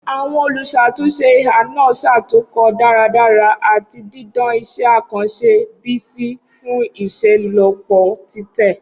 Awọn oluṣatunṣe iha naa ṣatunkọ daradara ati didan iṣẹ akanṣe Bisi fun iṣelọpọ titẹ.